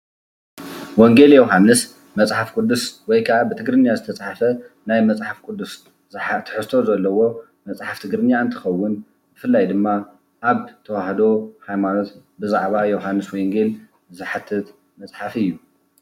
ወንጌል ዮውሃንስ መፅሓፍ ቅዱስ ወይ ከዓ ብትግርኛ ዝተፅሓፈ ናይ መፅሓፍ ቅዱስ ትሕዝቶ ዘለዎ መፅሓፍ ትግርኛ እንትኸውን ብፍላይ ድማ አብ ተዋህዶ ሃይማኖት ብዛዕባ ዮውሃንስ ወንጌል ዝሓትት መፅሓፍ እዩ።